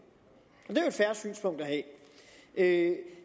et fair synspunkt at have